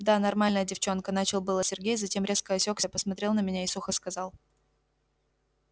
да нормальная девчонка начал было сергей затем резко осекся посмотрел на меня и сухо сказал